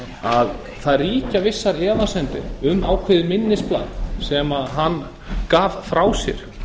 að það ríkja vissar efasemdir um ákveðið minnisblað sem hann gaf frá sér